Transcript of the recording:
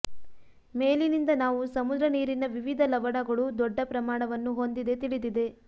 ಮೇಲಿನಿಂದ ನಾವು ಸಮುದ್ರ ನೀರಿನ ವಿವಿಧ ಲವಣಗಳು ದೊಡ್ಡ ಪ್ರಮಾಣವನ್ನು ಹೊಂದಿದೆ ತಿಳಿದಿದೆ